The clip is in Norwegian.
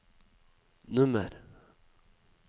nummer